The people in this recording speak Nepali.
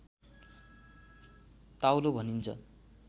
ताउलो भनिन्छ